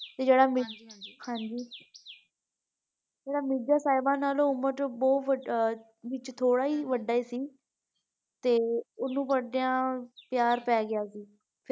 ਤੇ ਜਿਹੜਾ ਮਿਰ ਹਾਂਜੀ ਜਿਹੜਾ ਮਿਰਜ਼ਾ ਸਾਹਿਬਾ ਨਾਲੋਂ ਉਮਰ ਵਿੱਚ ਬਹੁਤ ਵੱਡਾ ਵਿੱਚ ਥੋੜਾ ਹੀ ਵੱਡਾ ਸੀ ਤੇ ਓਹਨੂੰ ਪੜਦਿਆਂ ਪਿਆਰ ਪੈ ਗਿਆ ਸੀ।